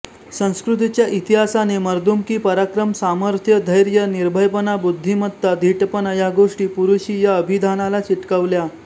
संस्कृतीच्या इतिहासाने मर्दुमकी पराक्रम सामर्थ्य धैर्य निर्भयपणा बुद्धिमत्ता धीटपणा या गोष्टी पुरुषी या अभिधानाला चिकटवल्या